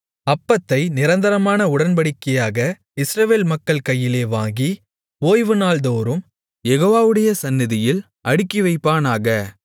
அப்பத்தை நிரந்தரமான உடன்படிக்கையாக இஸ்ரவேல் மக்கள் கையிலே வாங்கி ஓய்வுநாள் தோறும் யெகோவாவுடைய சந்நிதியில் அடுக்கிவைப்பானாக